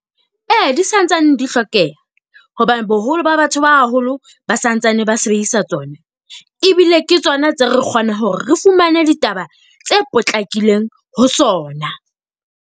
Ee di santsane di hlokeha, hobane boholo ba batho ba haholo ba santsane ba sebedisa tsona. Ebile ke tsona tse re kgona hore re fumane ditaba tse potlakileng ho tsona.